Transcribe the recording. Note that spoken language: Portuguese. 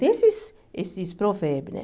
Tem esses esses provérbios, né?